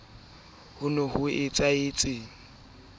ho iphelela le ho e